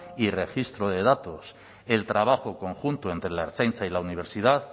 y registro de datos el trabajo conjunto entre la ertzaintza y la universidad